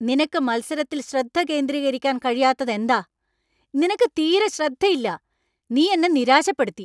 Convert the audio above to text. നിനക്ക് മത്സരത്തിൽ ശ്രദ്ധ കേന്ദ്രീകരിക്കാൻ കഴിയാത്തതെന്താ? നിനക്ക് തീരെ ശ്രദ്ധ ഇല്ല. നീ എന്നെ നിരാശപ്പെടുത്തി.